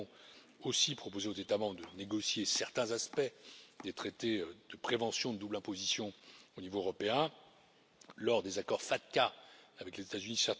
Nous avons aussi proposé aux États membres de négocier certains aspects des traités de prévention de double imposition au niveau européen lors des accords FATCA avec les États Unis.